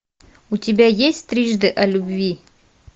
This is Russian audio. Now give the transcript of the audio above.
у тебя есть трижды о любви